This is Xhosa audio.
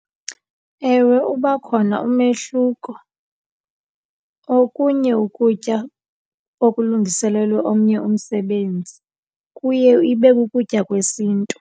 Ewe, uba khona umehluko okunye ukutya okulungiselelwe omnye umsebenzi kuye ibe kukutya kwesiNtu.